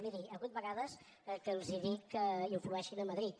miri hi ha hagut vegades que els he dit que influeixin a madrid